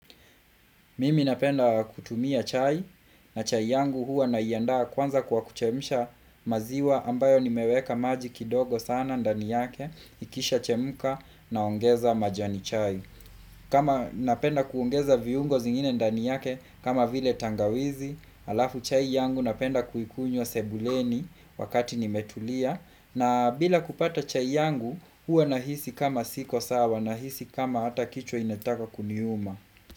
Mimi napenda kutumia chai na chai yangu hua naiandaa kwanza kwa kuchemsha maziwa ambayo nimeweka maji kidogo sana ndani yake ikisha chemka naongeza majani chai. Kama napenda kuongeza viungo vingine ndani yake kama vile tangawizi, alafu chai yangu napenda kuikunywa sebuleni wakati nimetulia na bila kupata chai yangu hua nahisi kama siko sawa nahisi kama hata kichwa inataka kuniuma.